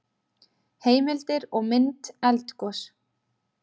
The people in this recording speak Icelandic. Heimildir og mynd Eldgos.